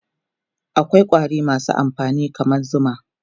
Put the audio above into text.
akwai ƙwari masu amfani kaman zuma